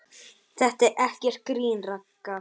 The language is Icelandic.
Þetta er ekkert grín, Ragga.